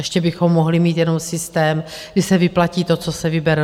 Ještě bychom mohli mít jenom systém, kdy se vyplatí to, co se vybere.